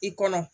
I kɔnɔ